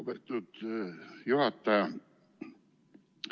Lugupeetud juhataja!